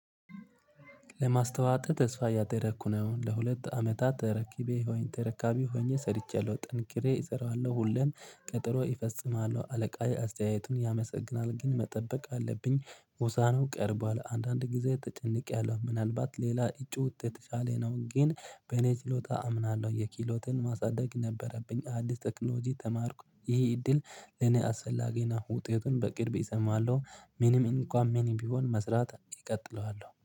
ለማስተዋት ተስፋ እያደረኩ ነው ለሁለት አመታት ተረኪቤ ተረካቢ ሆኜ ሰርቼለሁ ጥንኪሬ እሰራዋለሁ ሁሌም ቀጠሮ እፈጽማለሁ አለቃዬ አስተያየቱን ያመሰግናል ግን መጠበቅ አለብኝ ሙሳነው ቀርቧል አንዳንድ ጊዜ ተጨንቄያለሁ ምናልባት ሌላ እጩ ከእኔ የተሻለ ነው ግን በኔ ችሎታ አምናለሁ የኪሎትን ማሳደግ ነበረብኝ አዲስ ቴክኖሎጂ ተማርኩ ይሄ እድል እኔ አሰፈላጊ ናው ውጤቱን በቅርብ እሰማዋለሁ። ምንም እንኳን ምንም ቢሆን መስራት እቀጥለዋለሁ